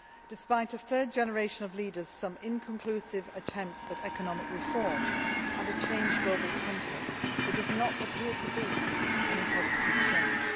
Despite a third generation of leaders, some inconclusive attempts at economic reform and a changed global context, there does not appear to be any positive change.